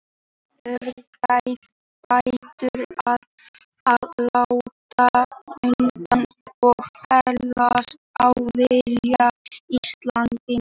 Aftur urðu Bretar að láta undan og fallast á vilja Íslendinga.